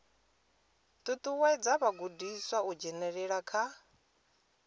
ṱuṱuwedza vhagudiswa u dzhenelela kha